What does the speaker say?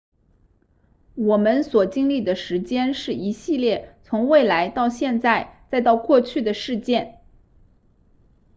我们所经历的时间是一系列从未来到现在再到过去的事件